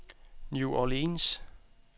New Orleans